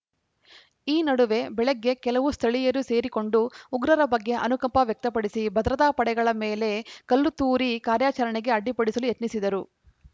ಈ ನಡುವೆ ಬೆಳಗ್ಗೆ ಕೆಲವು ಸ್ಥಳೀಯರು ಸೇರಿಕೊಂಡು ಉಗ್ರರ ಬಗ್ಗೆ ಅನುಕಂಪ ವ್ಯಕ್ತಪಡಿಸಿ ಭದ್ರತಾ ಪಡೆಗಳ ಮೇಲೆ ಕಲ್ಲು ತೂರಿ ಕಾರ್ಯಾಚರಣೆಗೆ ಅಡ್ಡಿಪಡಿಸಲು ಯತ್ನಿಸಿದರು